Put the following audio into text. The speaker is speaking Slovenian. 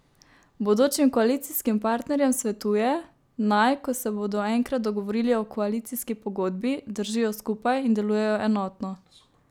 Bodočim koalicijskim partnerjem svetuje, naj, ko se bodo enkrat dogovorili o koalicijski pogodbi, držijo skupaj in delujejo enotno.